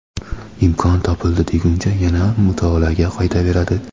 imkon topildi deguncha yana mutolaaga qaytaveradi.